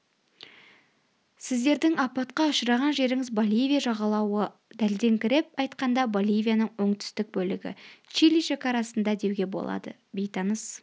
сіздердің апатқа ұшыраған жеріңіз боливия жағалауы дәлдеңкіреп айтқанда боливияның оңтүстік бөлігі чили шекарасында деуге болады бейтаныс